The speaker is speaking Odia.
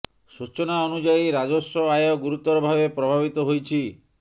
ସୂଚନା ଅନୁଯାୟୀ ରାଜସ୍ୱ ଆୟ ଗୁରୁତର ଭାବେ ପ୍ରଭାବିତ ହୋଇଛି